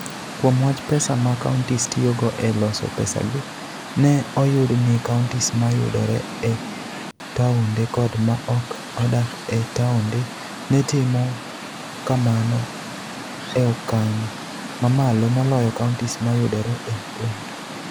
Kuom wach pesa ma counties tiyogo e loso pesagi, ne oyud ni counties ma yudore e taonde kod ma ok odak e taonde, ne timo kamano e okang' mamalo moloyo counties ma yudore e gwenge.